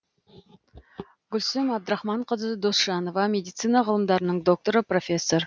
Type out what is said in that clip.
гүлсім әбдірахманқызы досжанова медицина ғылымдарының докторы профессор